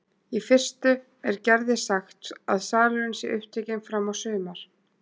Í fyrstu er Gerði sagt að salurinn sé upptekinn fram á sumar.